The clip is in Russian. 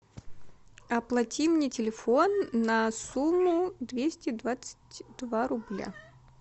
оплати мне телефон на сумму двести двадцать два рубля